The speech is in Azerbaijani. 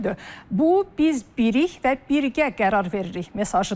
Bu, "biz bilirik və birgə qərar veririk" mesajıdır.